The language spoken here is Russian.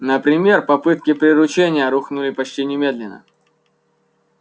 например попытки приручения рухнули почти немедленно